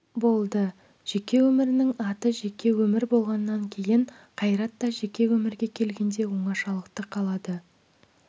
болды жеке өмірдің аты жеке өмір болғаннан кейін қайрат та жеке өмірге келгенде оңашалықты қалады